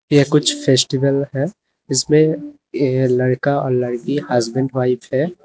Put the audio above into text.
ये कुछ फेस्टिवल है जिसमे लड़का लड़की हसबैंड वाइफ है।